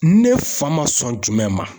Ne fa ma sɔn jumɛn ma?